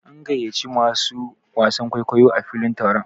An gayyaci masu wasan kwaikwayo a filin taron.